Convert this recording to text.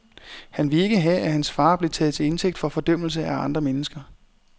Han ville ikke have, at hans far blev taget til indtægt for fordømmelse af andre mennesker.